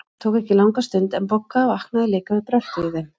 Það tók ekki langa stund, en Bogga vaknaði líka við bröltið í þeim.